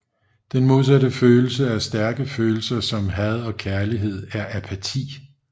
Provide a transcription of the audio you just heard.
Den modsatte følelse af stærke følelser som had og kærlighed er apati